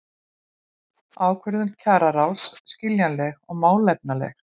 Ákvörðun kjararáðs skiljanleg og málefnaleg